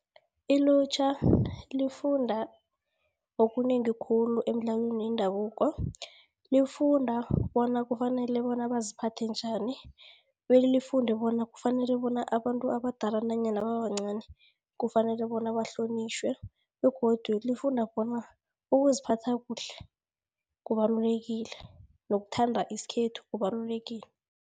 Ilutjha lifunda okunengi khulu emidlalweni yendabuko. Lifunda bona kufanele bona baziphathe njani, belifunde bona kufanele bona abantu abadala nanyana babancani kufanele bona bahlonitjhwe, begodu lifunda bona ukuziphatha kuhle kubalulekile nokuthanda isikhethu kubalulekile.